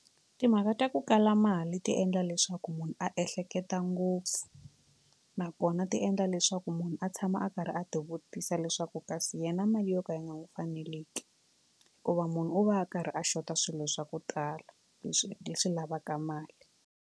Timhaka ta ku kala mali ti endla leswaku munhu a ehleketa ngopfu nakona ti endla leswaku munhu a tshama a karhi a ti vutisa leswaku kasi yena mali yo ka yi nga n'wi fanele ki hikuva munhu u va a karhi a xota swilo swa ku tala leswi leswi lavaka mali.